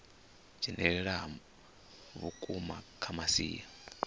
dzhenelela ha vhukuma kha masia